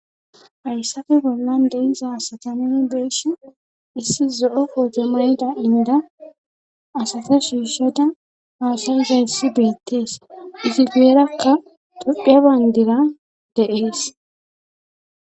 Hayssafe gollan deiza satami beeshe issi zo7o pootomada inda asate shiishoda haasazayssi biittees isi geerakka dudhe bayndira de'ees